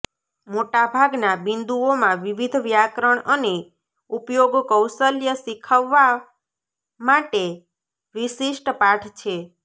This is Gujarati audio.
મોટાભાગના બિંદુઓમાં વિવિધ વ્યાકરણ અને ઉપયોગ કૌશલ્ય શીખવવા માટે વિશિષ્ટ પાઠ છે